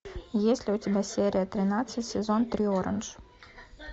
есть ли у тебя серия тринадцать сезон три орандж